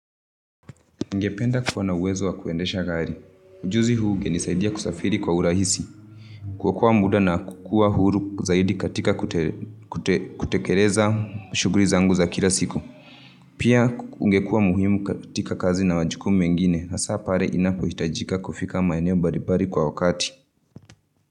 Ningependa kuwa na uwezo wa kuendesha gari. Juzi ungenisaidia kusafiri kwa urahisi. Kuokoa muda na kuwa huru zaidi katika kutekeleza shughuli zangu za kila siku. Pia ungekua muhimu katika kazi na majukumu mengine. Hasa pale inapohitajika kufika maeneo mbalimbali kwa wakati.